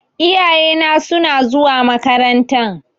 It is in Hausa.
Iyayena suna zuwa makarantan.